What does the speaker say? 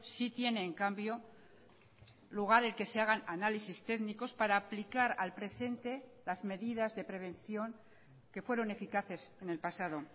sí tiene en cambio lugar el que se hagan análisis técnicos para aplicar al presente las medidas de prevención que fueron eficaces en el pasado